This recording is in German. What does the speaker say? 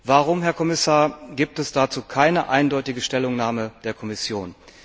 Warum, Herr Kommissar, gibt es dazu keine eindeutige Stellungnahme der Kommission?